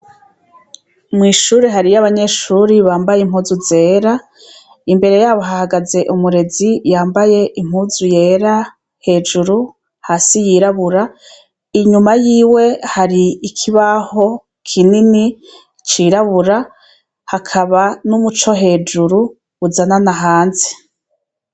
Mw'ishuri haruyo abanyeshure bambaye impuzu zera imbere yabo hahagaze umurezi yambaye impuzu zera hejuru hasi yirabura inyuma yiwe hari ikibaho kinini cirabura hakaba n'umuco hejuru uzanana hanze.